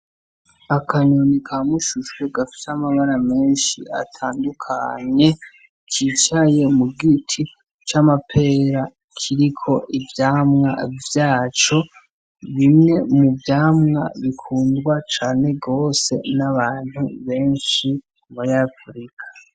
Akanyoni ka mushushwe gafise amabara menshi atandukanye kicaye mu giti c'amapera kiriko ivyamwa vyaco. Bimwe muvyamwa bikundwa cane gose n'abantu benshi babanyafrika.